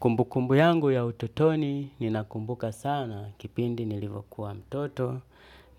Kumbu kumbu yangu ya utotoni ninakumbuka sana kipindi nilivokuwa mtoto,